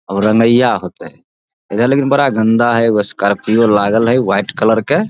और रगेइयां होएते उधर लेकिन बड़ा गंदा हेय एगो स्कॉर्पियो लागल हेय व्हाइट कलर के।